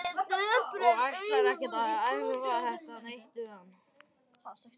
Og ætlar ekkert að erfa þetta neitt við hann.